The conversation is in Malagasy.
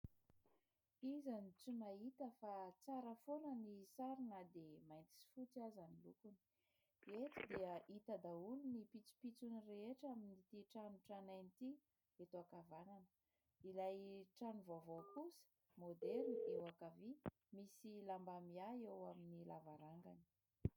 Iza no tsy mahita fa tsara foana ny sary na dia mainty sy fotsy aza ny lokony, eto dia hita daholo ny pitsopitsony rehetra amin'ity trano tranainy ity eto an-kavanana, ilay trano vaovao kosa maoderina eo an-kavia misy lamba miahy eo amin'ny lavarangany.